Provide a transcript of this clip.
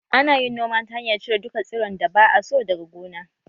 Ana yin noma ta hanyar cire duka tsiron da ba a so daga gona